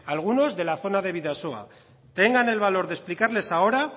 algunos de la zona de bidasoa tengan el valor de explicarles ahora